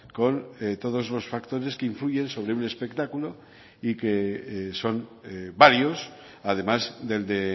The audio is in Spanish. con todos los factores que influyen sobre un espectáculo y que son varios además del de